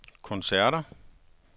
koncerter